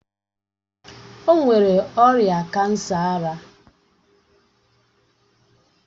O nwere ọrịa kansa ara